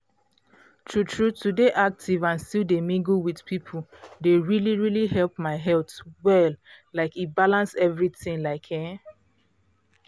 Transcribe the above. true true to dey active and still dey mingle with people dey really um help my health well like e balance everything like ehn.